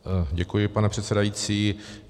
Děkuji, pane předsedající.